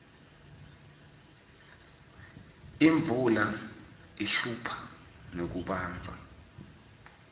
imvula ihlupha ngekubandza